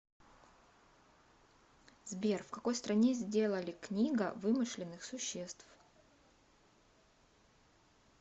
сбер в какой стране сделали книга вымышленных существ